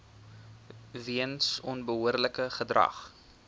weens onbehoorlike gedrag